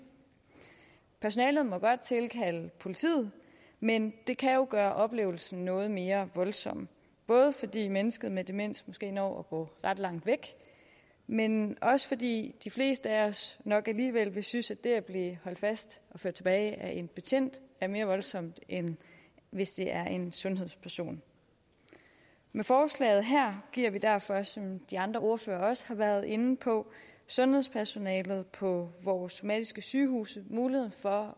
personalet må godt tilkalde politiet men det kan jo gøre oplevelsen noget mere voldsom både fordi mennesket med demens måske når at gå ret langt væk men også fordi de fleste af os nok alligevel vil synes at det at blive holdt fast og ført tilbage af en betjent er mere voldsomt end hvis det er af en sundhedsperson med forslaget her giver vi derfor som de andre ordførere også har været inde på sundhedspersonalet på vores somatiske sygehuse mulighed for